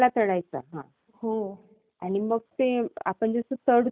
अच्छ चालेल bye bye.